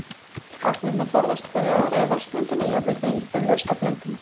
Agnirnar forðast hverja aðra í vatnsblöndunni, jafnvel þegar ýtt er laust á blönduna.